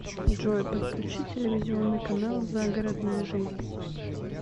джой подключи телевизионный канал загородная жизнь